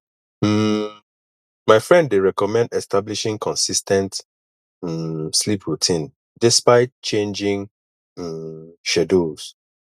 um my friend dey recommend establishing consis ten t um sleep routine despite changing um schedules